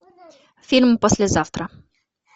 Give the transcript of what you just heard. фильм послезавтра